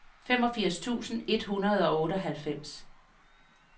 femogfirs tusind et hundrede og otteoghalvfems